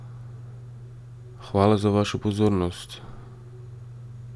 Hvala za vašo pozornost!